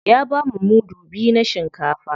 Ya bamu mudu biyu na shinkafa.